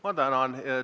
Ma tänan!